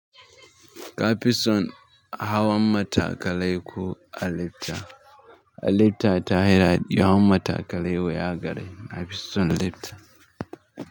Ka fi son hawan matakale ko a lifta? A lifta ta fi daɗi hawan matakale wuya gareta na fi son lifta.